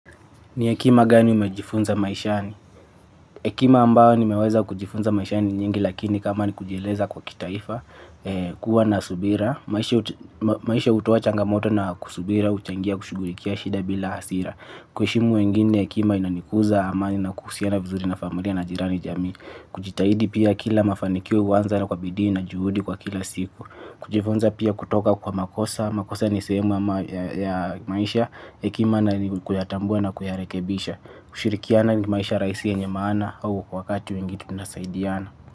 Ni hekima gani umejifunza maishani? Hekima ambayo nimeweza kujifunza maishani ni nyingi lakini kama ni kujieleza kwa kitaifa, kuwa na subira, maisha hutoa changamoto na kusubira, huchangia, kushughulikia, shida bila hasira. Kuheshimu wengine hekima inanikuza amani na kuhusiana vizuri na familia na jirani jamii. Kujitahidi pia kila mafanikio huanza kwa bidii na juhudi kwa kila siku. Kujifunza pia kutoka kwa makosa makosa ni sehemu ya maisha hekima na kuyatambua na kuyarekebisha. Kushirikiana ni maisha rahisi yenye maana. Au kwa wakati mwengine mnasaidiana.